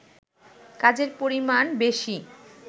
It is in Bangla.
কাজের পরিমাণ বেশি